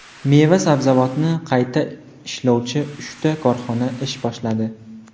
Meva-sabzavotni qayta ishlovchi uchta korxona ish boshladi.